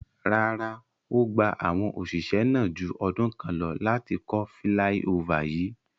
Rara, O gba awọn oṣiṣẹ naa ju ọdun kan lọ lati kọ filaiofa yii